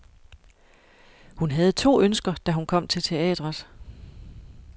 Hun havde to ønsker, da hun kom til teatret.